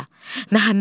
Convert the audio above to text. Bala.